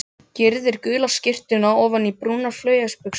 Gyrðir gula skyrtuna ofan í brúnar flauelsbuxur.